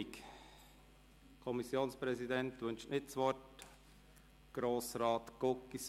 Der Kommissionspräsident wünscht das Wort nicht.